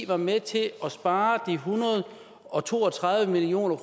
var med til at spare de en hundrede og to og tredive million